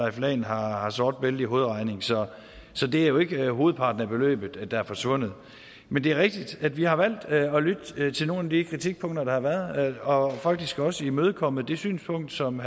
at han har har sort bælte i hovedregning så så det er jo ikke hovedparten af beløbet der er forsvundet men det er rigtigt at vi har valgt at lytte til nogle af de kritikpunkter der har været og vi har faktisk også imødekommet det synspunkt som